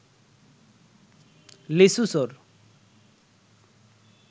লিচু চোর